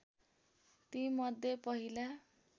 ती मध्ये पहिला